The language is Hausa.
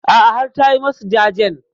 A'a har ta yi masu jajen.